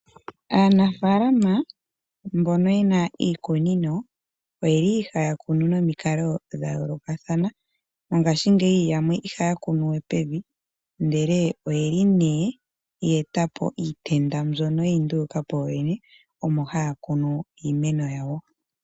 Aanafaalama mbono yena iikunino oyeli haya kunu nomikalo dhayoolokathana. Mongaashingeyi yamwe ihaya kunu we pevi, ndele oyeli ye etapo iitenda mbyono yeyi ndulukapo yooyene, mono haya kunu iimeno yawo.